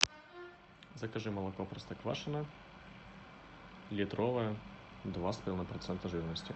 закажи молоко простоквашино литровое два с половиной процента жирности